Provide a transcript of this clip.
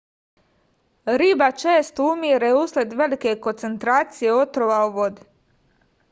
riba često umire usled velike koncentracije otrova u vodi